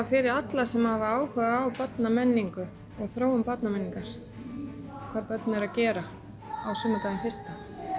fyrir alla sem hafa áhuga á barnamenningu og þróun barnamenningar hvað börn eru að gera á sumardaginn fyrsta